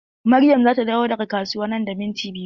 Maryam zata dawo daga kasuwa nan da minti biyu.